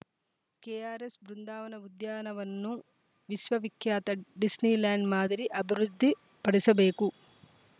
KRS Brindavan ಉದ್ಯಾನವನ್ನು ವಿಶ್ವವಿಖ್ಯಾತ Disneyland ಮಾದರಿ ಅಭಿವೃದ್ಧಿಪಡಿಸಬೇಕು